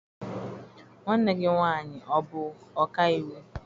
Nwanne gị nwaanyị ọ bụ ọka iwu?